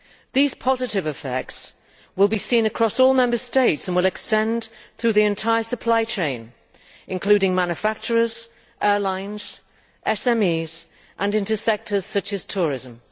These positive effects will be seen across all the Member States and will extend to the entire supply chain, including manufacturers, airlines and SMEs, and into sectors such as tourism.